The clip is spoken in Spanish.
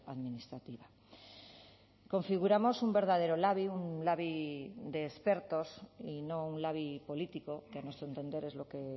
administrativa configuramos un verdadero labi un labi de expertos y no un labi político que a nuestro entender es lo que